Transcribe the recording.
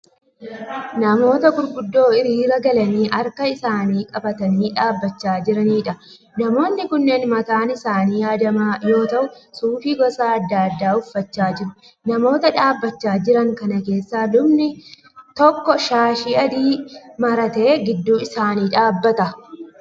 Namoota gurguddoo hiriira galanii harka isaanii qabatanii dhaabbachaa jiraniidha. Namoonni kunneen mataan isaanii haadamaa yoo ta'u suufii gosa adda addaa uffachaa jiru. Namoota dhaabachaa jiran kana keessa lubni tokko shaashii adii maratee gidduu isaanii dhaabbata.